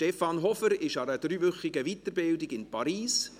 Stefan Hofer ist an einer dreiwöchigen Weiterbildung in Paris.